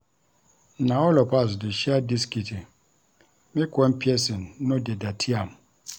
Na all of us dey share dis kitchen make one pesin no dey dirty am.